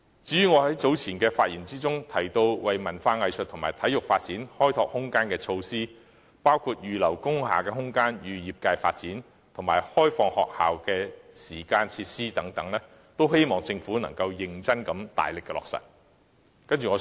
關於我在早前的發言中所提及為文化藝術和體育發展開拓空間的措施，包括預留工廈空間予業界發展及開放學校的時間和設施等，均希望政府能認真加大力度，予以落實。